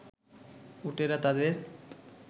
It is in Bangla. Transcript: উটেরা তাদের